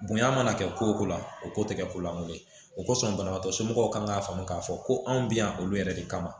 Bonya mana kɛ ko o ko la o ko tɛ kɛ ko lankolon ye o kosɔn banabagatɔ somɔgɔw kan k'a faamu k'a fɔ ko anw bɛ yan olu yɛrɛ de kama